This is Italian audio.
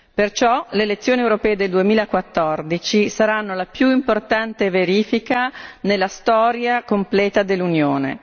Perciò le elezioni europee del 2014 saranno la più importante verifica nella storia completa dell'Unione.